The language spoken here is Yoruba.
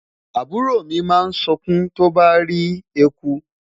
àbúrò mi ma sunkun tó bà rí ẹkú